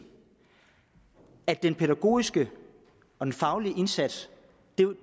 at den pædagogiske og den faglige indsats